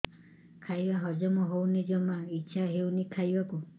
ଖାଇବା ହଜମ ହଉନି ଜମା ଇଛା ହଉନି ଖାଇବାକୁ